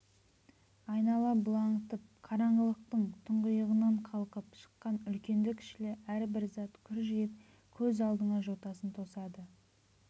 айнала бұлаңытып қараңғылықтың тұңғиығынан қалқып шыққан үлкенді-кішілі әрбір зат күржиіп көз алдыңа жотасын тосады